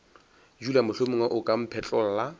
dula mohlomongwe o ka mphetlolla